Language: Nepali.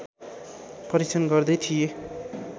परीक्षण गर्दै थिए